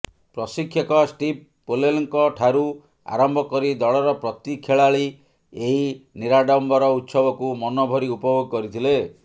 ପ୍ରଶିକ୍ଷକ ଷ୍ଟିଭ୍ ପୋଲେଲଙ୍କଠାରୁ ଆରମ୍ଭ କରି ଦଳର ପ୍ରତି ଖେଳାଳି ଏହି ନିରାଡମ୍ବର ଉତ୍ସବକୁ ମନଭରି ଉପଭୋଗ କରିଥିଲେ